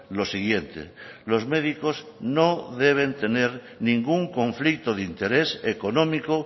lo siguiente los médicos no deben tener ningún conflicto de interés económico